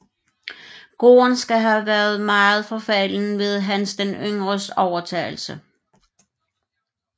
Gården skal have været meget forfalden ved Hans den Yngres overtagelse